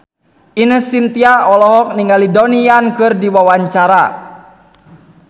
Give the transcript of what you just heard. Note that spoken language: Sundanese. Ine Shintya olohok ningali Donnie Yan keur diwawancara